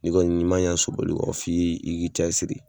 N'i kɔni ni ma ɲa sobali kɔ f'i i k'i cɛ siri.